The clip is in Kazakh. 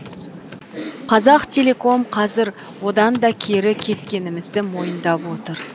қазақтелеком қазір одан да кері кеткенімізді мойындап отыр